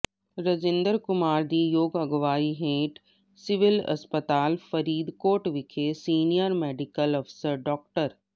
ਰਜਿੰਦਰ ਕੁਮਾਰ ਦੀ ਯੋਗ ਅਗਵਾਈ ਹੇਠ ਸਿਵਲ ਹਸਪਤਾਲ ਫਰੀਦਕੋਟ ਵਿਖੇ ਸੀਨੀਅਰ ਮੈਡੀਕਲ ਅਫਸਰ ਡਾ